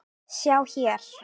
sjá hér!